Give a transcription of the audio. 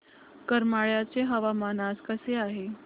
करमाळ्याचे हवामान आज कसे आहे